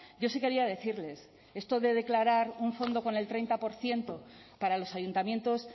yo sí quería decirles esto de declarar un fondo con el treinta por ciento para los ayuntamientos